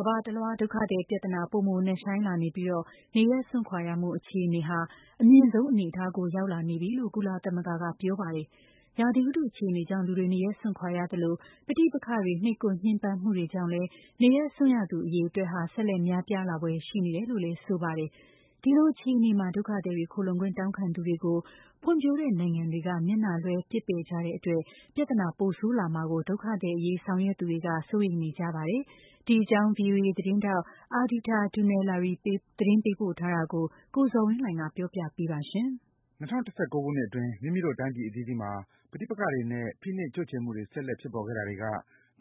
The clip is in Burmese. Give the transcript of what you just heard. ကမ္ဘာတလွှား ဒုက္ခသည် ပြဿနာပိုမို နက်ရှိုင်းလာနေပြီး နေရပ်စွန့်ခွာရမှုအခြေအနေဟာ အမြင့်ဆုံး အနေအတားကို ရောက်ရှိလာနေပြီလို့ ကုလသမဂ္ဂ ကဆိုပါတယ်။ ရာသီဥတု အခြေအနေကြောင့် လူတွေ နေရပ်စွန့်ခွာနေကြရသလို ပဋိပက္ခတွေ နှိပ်ကွပ် ညှဉ်းပန်းမှုတွေ ကြောင့်လည်း နေရပ်စွန့်ရသူတွေ အရေအတွက် ဆက်လက် များပြားလာဖွယ်ရှိနေတယ်လို့ ဆိုပါတယ်။ ဒီလိုအခြေအနေမှာ ဒုက္ခသည်တွေ၊ ခိုလှုံခွင့် တောင်းခံသူတွေကို ဖွံ့ဖြိုးတဲ့နိုင်ငံတွေက မျက်နှာလွှဲ ပစ်ပယ်ကြတဲ့ အတွက် ပြဿနာ ပိုဆိုးလာမှာကို ဒုက္ခသည်အရေး ဆောင်ရွက်သူတွေ စိုးရိမ်နေကြပါတယ်။ ဒီအကြောင်း VOA သတင်းထောက် Ardita Dunellari သတင်းပေးပို့ထားတာကို ကိုဇော်ဝင်းလှိုင်က တင်ပြပေးပါမယ်။ ၂၀၁၉ ခုနှစ် အတွင်း မိမိတို့ တိုင်းပြည်အသီးသီးမှာ ပဋိပက္ခတွေနဲ့ ဖိနှိပ် ချုပ်ချယ်မှုတွေ ဆက်လက် ဖြစ်ပေါ်ခဲ့တာတွေက